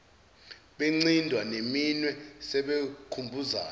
bencinda neminwe sebekhumbuzana